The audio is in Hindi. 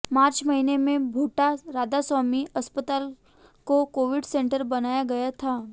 मार्च महीने में भोटा राधास्वामी अस्पताल को कोविड सेंटर बनाया गया था